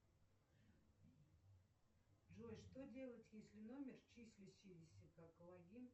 джой что делать если номер числящийся как логин